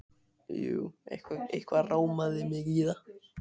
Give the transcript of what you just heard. Jú, eitthvað rámaði mig í það.